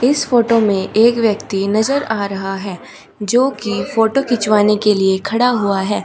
इस फोटो में एक व्यक्ति नजर आ रहा है जो कि फोटो खिंचवाने के लिए खड़ा हुआ है।